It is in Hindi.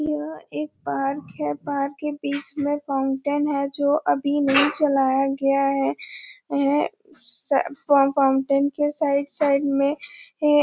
ये एक पार्क है पार्क के बीच में फाउंटेन है जो अभी नहीं चलाया गया है स ए फाउंटेन के साइड साइड में --